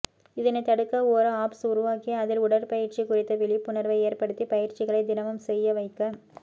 இதனை தடுக்க ஒரு ஆப்ஸ் உருவாக்கி அதில் உடற்பயிற்சி குறித்த விழிப்புணர்வை ஏற்படுத்தி பயிற்சிகளை தினமும் செய்யவைக்க